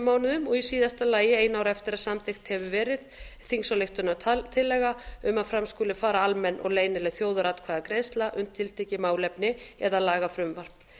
mánuðum og í síðasta lagi einu ári eftir að samþykkt hefur verið þingsályktunartillaga um að fram skuli fara almenn og leynileg þjóðaratkvæðagreiðsla um tiltekið málefni eða lagafrumvarp